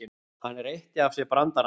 Hann reytti af sér brandarana.